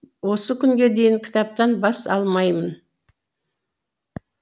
осы күнге дейін кітаптан бас алмаймын